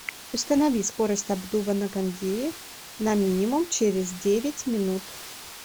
установи скорость обдува на кондее на минимум через девять минут